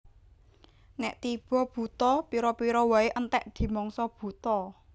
Nèk tiba Buta pira pira waé entèk dimangsa buta